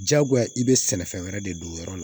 Jagoya i bɛ sɛnɛfɛn wɛrɛ de don o yɔrɔ la